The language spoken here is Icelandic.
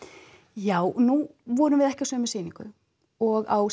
já nú vorum við ekki á sömu sýningu og á